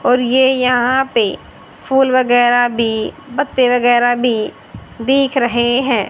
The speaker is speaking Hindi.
और ये यहां पे फूल वगैरा भी पत्ते वगैर भी दिख रहे हैं।